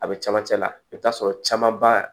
A be camancɛ la i bi t'a sɔrɔ camanba